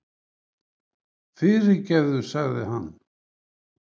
Fyrirgefðu, sagði hann.